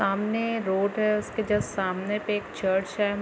सामने रोड है उसके जस्ट सामने पे एक चर्च है।